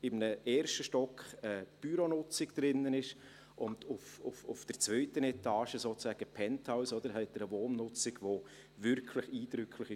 Im ersten Stock ist Büronutzung und auf der zweiten Etage – sozusagen im Penthouse – haben sie eine Wohnnutzung, die wirklich eindrücklich ist: